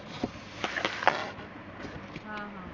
हं हं